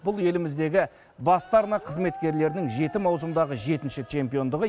бұл еліміздегі басты арна қызметкерлерінің жеті маусымдағы жетінші чемпиондығы